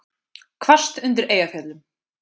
Hvasst undir Eyjafjöllum